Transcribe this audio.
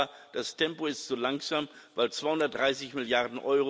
Aber das Tempo ist zu langsam, weil 230 Mrd.